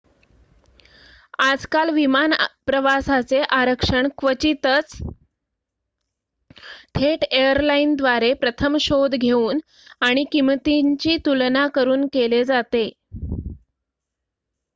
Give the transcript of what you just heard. आजकाल विमान प्रवासाचे आरक्षण क्वचितच थेट एयरलाईनद्वारे प्रथम शोध घेऊन आणि किंमतींची तुलना करुन केले जाते